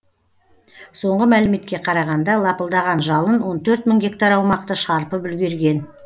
соңғы мәліметке қарағанда лапылдаған жалын он төрт мың гектар аумақты шарпып үлгерген